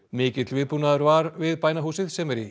mikill viðbúnaður var við bænahúsið sem er í